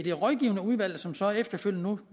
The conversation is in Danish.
et rådgivende udvalg som så efterfølgende